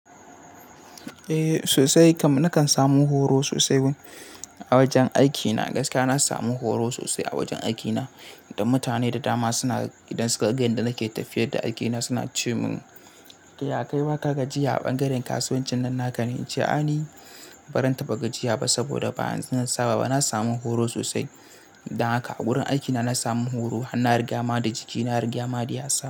Eh sosai. Nakan samu horo sosai a wajen aikina. Gaskiya na samu horo sosai a wajen aikina. Da mutane da dama suna idan suka ga inda nake tafiya da aikina suna ce min "ya kai wa kaga jiya a ɓangaren kasuwancin nan naka ne?" Na ce a ni ban ranta ba jiya ba saboda ba zan saba ba. Na samu horo sosai idan haka a wurin aikina na samu horo. Hana rigama da jiki, hana rigama da yasa.